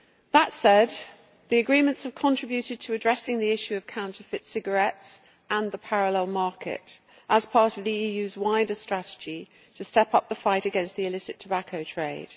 That said, the agreements have contributed to addressing the issue of counterfeit cigarettes and the parallel market as part of the EU's wider strategy to step up the fight against the illicit tobacco trade.